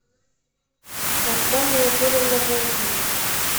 оксана анатольевна волкова